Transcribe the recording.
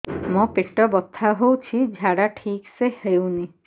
ମୋ ପେଟ ବଥା ହୋଉଛି ଝାଡା ଠିକ ସେ ହେଉନି